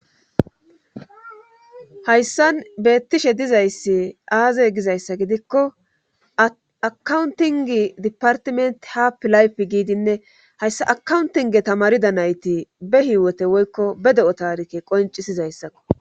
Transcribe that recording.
hayssan beettishe dizayssi aazey gizayssa gidikko akauntingi dipartiment happilayf giidinne hayssa akauntinge tamarida nayti be hiiwote woykko be de7o taarikke qoncisizayssakko